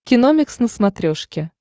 киномикс на смотрешке